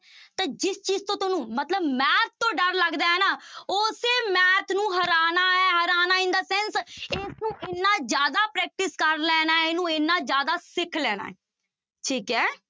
ਤਾਂ ਜਿਸ ਚੀਜ਼ ਤੋਂ ਤੁਹਾਨੂੰ ਮਤਲਬ math ਤੋਂ ਡਰ ਲੱਗਦਾ ਹੈ ਨਾ ਉਸੇ math ਨੂੰ ਹਰਾਉਣਾ ਹੈ ਹਰਾਉਣਾ in the sense ਇਸਨੂੰ ਇੰਨਾ ਜ਼ਿਆਦਾ practice ਕਰ ਲੈਣਾ, ਇਹਨੂੰ ਇੰਨਾ ਜ਼ਿਆਦਾ ਸਿੱਖ ਲੈਣਾ ਹੈ, ਠੀਕ ਹੈ।